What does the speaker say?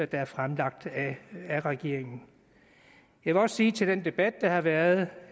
der er fremsat af regeringen jeg vil også sige til den debat der har været